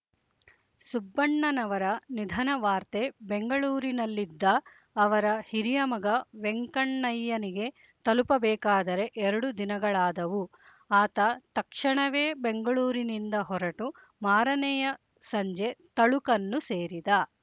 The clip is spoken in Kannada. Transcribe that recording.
ಸುಬ್ಬಣ್ಣನವರ ನಿಧನವಾರ್ತೆ ಬೆಂಗಳೂರಿನಲ್ಲಿದ್ದ ಅವರ ಹಿರಿಯ ಮಗ ವೆಂಕಣ್ಣಯ್ಯನಿಗೆ ತಲುಪಬೇಕಾದರೆ ಎರಡು ದಿನಗಳಾದವು ಆತ ತಕ್ಷಣವೇ ಬೆಂಗಳೂರಿನಿಂದ ಹೊರಟು ಮಾರನೆಯ ಸಂಜೆ ತಳುಕನ್ನು ಸೇರಿದ